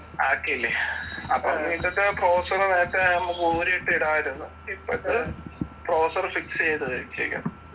ആക്കിയില്ലേ അപ്പൊ എന്നിട്ട് പ്രോസസ്സർ നേരത്തെ നമുക്ക് ഊരിയിട്ട് വരുവാരുന്നു. ഇപ്പോഴത്തെ പ്രോസസ്സർ ഫിക്സ് ചെയ്താ വെച്ചേക്കുന്നെ.